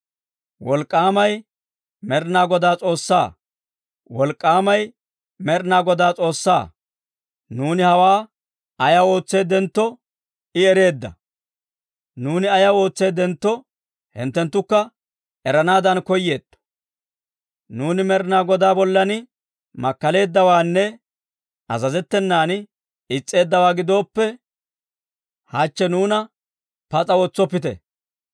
«Wolk'k'aamay Med'ina Godaa S'oossaa! Wolk'k'aamay Med'ina Godaa S'oossaa! Nuuni hawaa ayaw ootseeddentto I ereedda! Nuuni ayaw ootseeddentto hinttenttukka eranaadan koyeetto. Nuuni Med'ina Godaa bollan makkaleeddawaanne azazettenan is's'eeddawaa gidooppe, hachche nuuna pas'a wotsoppite.